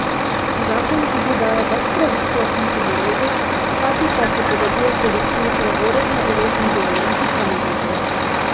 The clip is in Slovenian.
Zakon tudi daje več pravic lastnikom orožja, hkrati pa prepoveduje policiji preverjanje orožnih dovoljenj posameznikov.